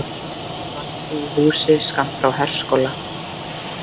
Dvaldi í húsi skammt frá herskóla